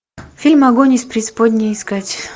фильм огонь из преисподней искать